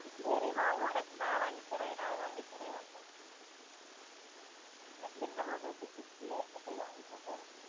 சேரி வா உனக்கு நான் வாங்கி தாரேன் வா நான் வாங்கி தாரேன் வா எந்த hotel ல புடிக்கும் சொல்லு அங்க போய் வாங்கி சப்டாலம்